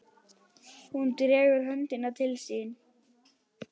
Hún dregur höndina til sín.